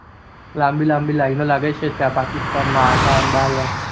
લાંબી લાંબી લીનો લાગે છે એટ ને ડાળ હતું